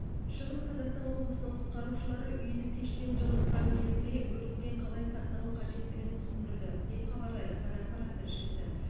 шығыс қазақстан облысының құтқарушылары үйді пешпен жылытқан кезде өрттен қалай сақтану қажеттігін түсіндірді деп хабарлайды қазақпарат тілшісі